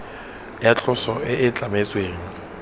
ya tloso e e tlametsweng